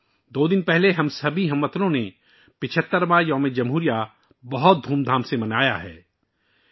دو دن پہلے ہم سبھی ہم وطنوں نے 75 واں یوم جمہوریہ بڑی دھوم دھام اور جوش و خروش کے ساتھ منایا تھا